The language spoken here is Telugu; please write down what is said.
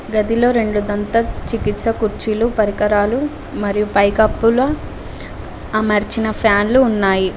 గదిలో రెండు దంత చికిత్స కుర్చీలు పరికరాలు మరియు పైకప్పుల అమర్చిన ఫ్యాన్లు ఉన్నాయి.